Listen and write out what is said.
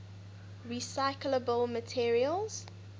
recyclable materials